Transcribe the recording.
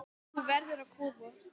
Þú verður að koma!